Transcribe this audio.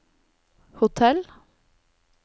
hotell